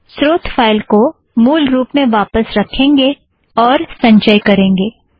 स्रोत फ़ाइल को मूल रुप में वापस रखेंगें और संचय करेंगें